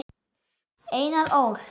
Einar Ól.